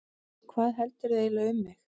Hvað heldurðu eiginlega um mig!